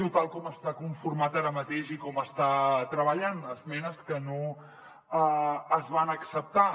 o tal com està conformat ara mateix i com està treballant esmenes que no es van acceptar